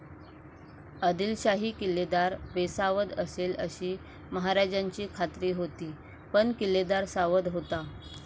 आदिलशाही किल्लेदार बेसावध असेल अशी महाराजांची खात्री होती पण किल्लेदार सावध होता.